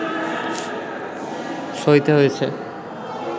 সইতে হয়েছে